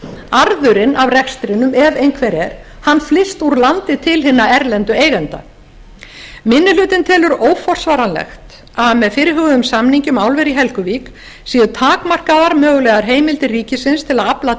arðurinn af rekstrinum ef einhver er flyst úr landi til hinna erlendu eigenda minni hlutinn telur óforsvaranlegt að með fyrirhuguðum samningi um álver í helguvík séu takmarkaðar mögulegar heimildir ríkisins til að afla